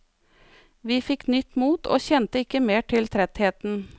Vi fikk nytt mot og kjente ikke mer til trettheten.